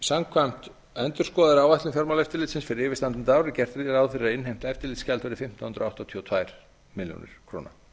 samkvæmt endurskoðaðri áætlun fjármálaeftirlitsins fyrir yfirstandandi ár er gert ráð fyrir að innheimt eftirlitsgjald verði fimmtán hundruð áttatíu og tvær milljónir króna